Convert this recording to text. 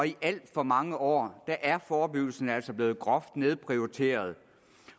i alt for mange år er forebyggelsen altså blevet groft nedprioriteret